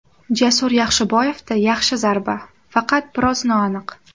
Jasur Yaxshiboyevda yaxshi zarba, faqat biroz noaniq!